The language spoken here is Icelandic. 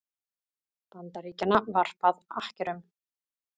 Bandaríkjanna varpað akkerum.